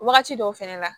Wagati dɔw fɛnɛ la